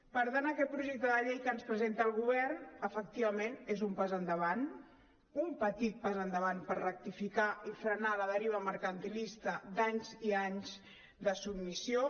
per tant aquest projecte de llei que ens presenta el govern efectivament és un pas endavant un petit pas endavant per rectificar i frenar la deriva mercantilista d’anys i anys de submissió